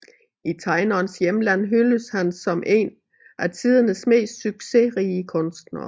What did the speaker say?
I tegnerens hjemland hyldes han som en af tidernes mest succesrige kunstnere